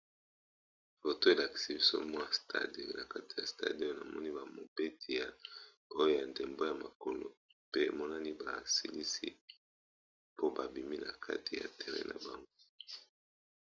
Foto elakisi biso mwa stade na kati ya stade namoni ba mobeti oya ndembo ya makolo pe emonani ba silisi pe babimi na kati ya terrain na bango.